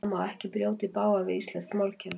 Það má ekki brjóta í bága við íslenskt málkerfi.